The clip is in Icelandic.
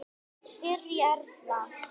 Sirrý Erla.